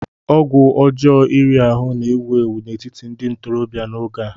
ọgwụ ọjọọ iri ahụ́ na-ewu ewu n'etiti ndị ntorobịa n'oge a